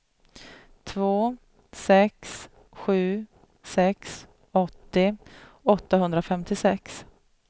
två sex sju sex åttio åttahundrafemtiosex